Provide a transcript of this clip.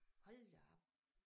Hold da op